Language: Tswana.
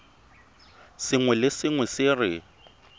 sengwe le sengwe se re